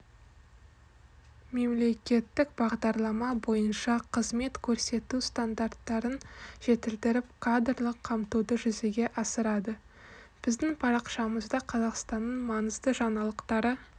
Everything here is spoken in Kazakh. мемлекеттік бағдарлама бойынша қызмет көрсету стандарттарын жетілдіріп кадрлық қамтуды жүзеге асырады біздің парақшамызда қазақстанның маңызды жаңалықтары